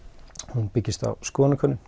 hún byggist á skoðanakönnun